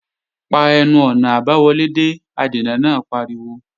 Pa ẹnu-ọ̀nà àbáwọlé dé! Adènà náà pariwo